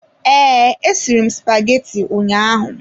Ee, esiri m spaghetti ụnyaahụ.